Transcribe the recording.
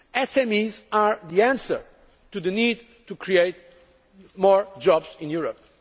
to SMEs. SMEs are the answer to the need to create more jobs